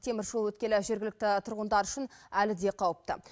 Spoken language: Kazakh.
теміржол өткелі жергілікті тұрғындар үшін әлі де қауіпті